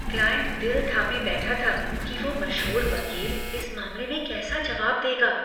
Client दिल थाने बैठा था कि वो मशहूर वकील इस मामले में कैसा जवाब देगा।